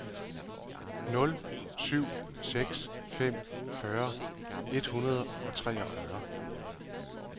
nul syv seks fem fyrre et hundrede og treogfyrre